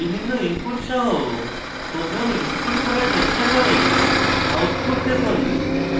বিভিন্ন inputs সহ program execute করার চেষ্টা করে output দেখুন